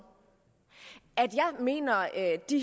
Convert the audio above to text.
at jeg mener at det